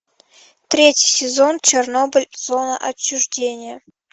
третий сезон чернобыль зона отчуждения